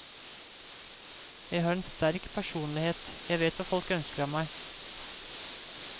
Jeg har en sterk personlighet, jeg vet hva folk ønsker av meg.